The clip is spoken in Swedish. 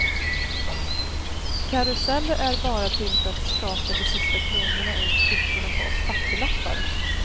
Karuseller är bara till för att skaka de sista kronorna ur fickorna på oss fattiglappar.